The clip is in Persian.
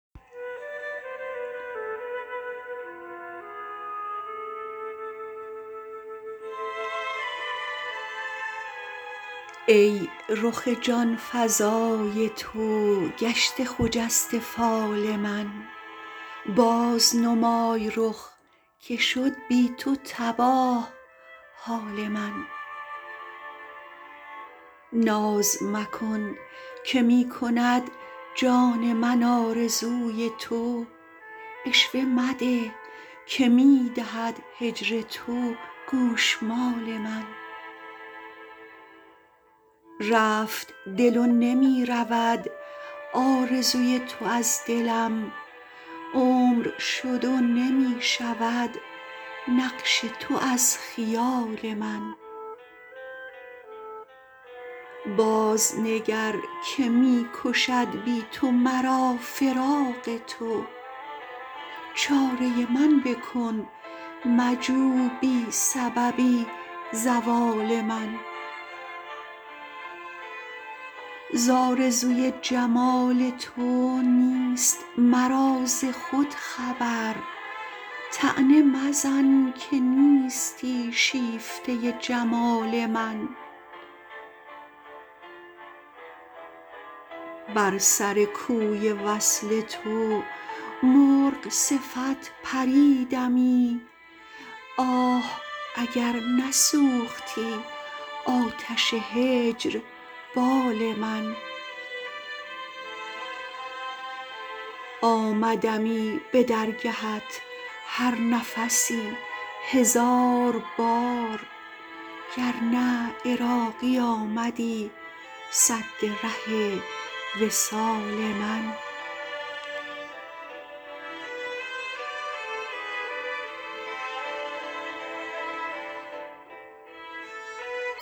ای رخ جان فزای تو گشته خجسته فال من باز نمای رخ که شد بی تو تباه حال من ناز مکن که می کند جان من آرزوی تو عشوه مده که می دهد هجر تو گوشمال من رفت دل و نمی رود آرزوی تو از دلم عمر شد و نمی شود نقش تو از خیال من باز نگر که می کشد بی تو مرا فراق تو چاره من بکن مجو بی سببی زوال من ز آرزوی جمال تو نیست مرا ز خود خبر طعنه مزن که نیستی شیفته جمال من بر سر کوی وصل تو مرغ صفت پریدمی آه اگر نسوختی آتش هجر بال من آمدمی به درگهت هر نفسی هزار بار گر نه عراقی آمدی سد ره وصال من